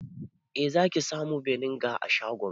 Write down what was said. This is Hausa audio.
Eh zaki samu beniga a shagonmu